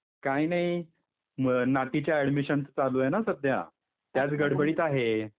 काही नाही, नाती च्या ऍडमिशनचं, चालू आहे न सध्या! त्याच गडबडीत आहे.